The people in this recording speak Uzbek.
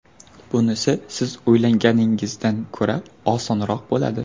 Bunisi siz o‘ylaganingizdan ko‘ra osonroq bo‘ladi.